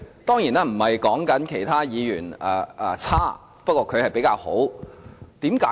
當然，我不是說其他議員差勁，不過他是比較出色的。